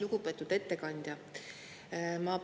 Lugupeetud ettekandja!